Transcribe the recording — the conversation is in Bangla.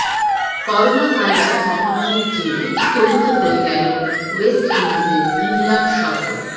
করোনা ভাইরাস মহামারীর জেরে স্থগিত হয়ে গেল ওয়েস্ট উইন্ডিজের ইংল্যান্ড সফর